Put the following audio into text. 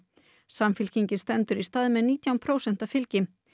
samfylkingin stendur í stað með nítján prósenta fylgi